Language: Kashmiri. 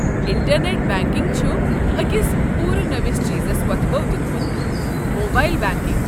انٹرنٮ۪ٹ بنٛکنٛگہِ چھُ أکس پوٗرٕ نٔوس چیٖزس وۄتھبھو دیُتمُت۔ Mobile banking.